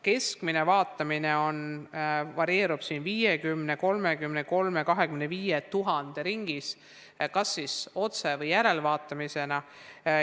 Keskmine vaatamine varieerub 50 000, 33 000, 25 000 ringis, kas siis otse- või järelvaatamisena.